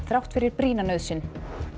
þrátt fyrir brýna nauðsyn